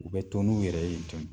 U bɛ to n'u yɛrɛ ye tun